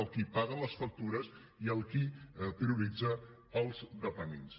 el qui paga les factures i el qui prioritza els dependents